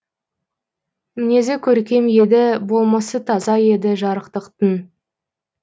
мінезі көркем еді болмысы таза еді жарықтықтың